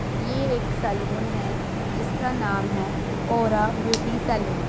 ये एक सैलून है जिसका नाम है औरा ब्यूटी सैलून ।